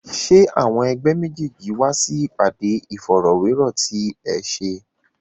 Ṣé àwọn ẹ̀gbẹ́ méjèèjì wá sí ìpàdé Ìfọ̀rọ̀wérọ̀ ti ẹ ṣe?